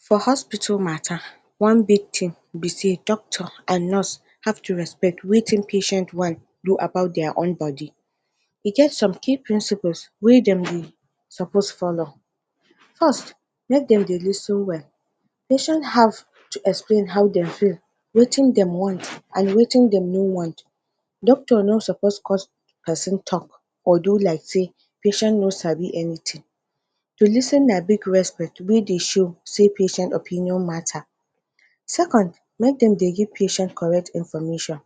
For hospital matta one big tin be say, doctor and nurse have to respect wetin patient wan do about dia own body, e get some key principles wey dem suppose follow, first make dem dey lis ten well. Patient have patient have to explain how dem feel, wetin dem wan and wetin dem no wan, doctor no supposed cause pesin tok or do like say patient no sabi anytin. To lis ten na big respect wey dey show patient opinion matta. Second make dem dey give patient correct information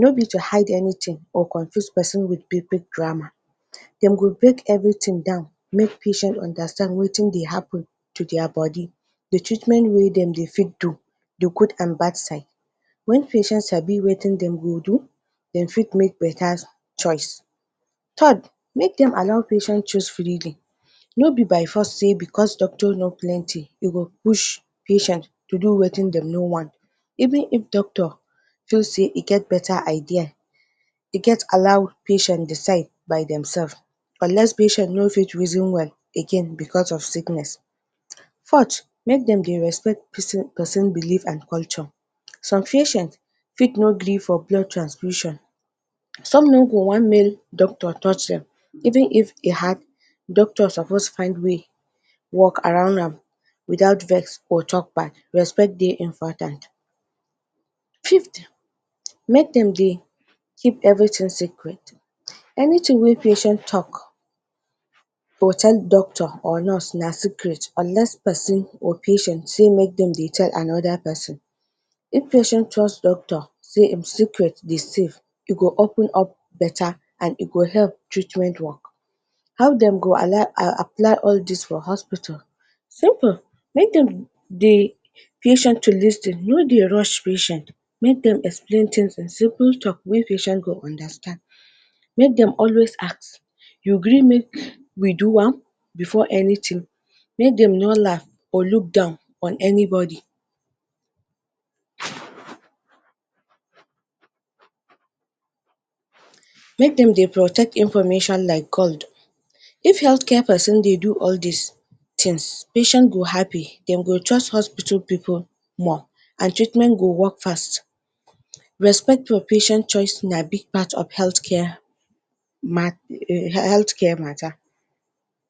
nobi to hide anytin and confuse pesin wit big big grammar, dem go break evritin down make patient understand wetin dey happun to dia body, di treatment wey dem dey fit do, di good and bad side wen patient sabi wetin dem go do, dem fit make betta choice. Third make dem allow patient choose, nobi by force sey bicos doctors no plenty e go push patient to do wetin dem no want even if doctor tok say e get betta idea e get allow patient decide by dem sefs unless patient no fit reason well, again bicos of sickness. Fourth, make dem dey respect pesin belief and culture, some fit no believe for blood transfusion, some no go wan male doctors touch dem even if hard, doctor suppose find way wok around am, wit out vex or tok bad, respect dey important. Fifth, make dem dey keep evritin secret. Anytin wey patient tok, or tell doctor or nurse na secret unless pesin or patient say make dem dey tell anoda pesin. If patient trust doctor, say im secret dey safe, im go open up betta, e go help treatment work. How dem go apply all dis for hospital? Simple, make dem dey patient to lis ten make dem no rush patient. Make dem explain tins in simple tok wey patient understand, make dem always ask, you gree make we do am? Bifor anytin. Make dem no laff or look down on anybody. Make dem dey protect information like gold. If health care pesin dey do all dis tins patient go happy dem go trust hospital pipu more and treatment go wok fast. Respect your patient choice na big part of health care matta